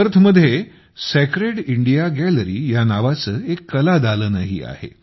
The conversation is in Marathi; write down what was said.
पर्थमध्ये सॅक्रेड इंडिया गॅलरी या नावाचे एक कलादालनही आहे